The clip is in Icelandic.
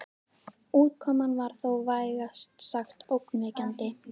Útkoman var þó vægast sagt ógnvekjandi.